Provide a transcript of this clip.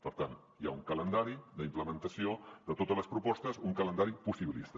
per tant hi ha un calendari d’implementació de totes les propostes un calendari possibilista